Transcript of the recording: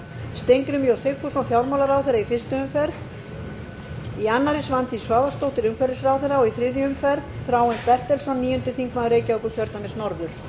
steingrímur j sigfússon fjármálaráðherra í fyrstu umferð í annarri svandís svavarsdóttir umhverfisráðherra og í þriðju umferð þráinn bertelsson níundi þingmaður reykjavíkurkjördæmis norður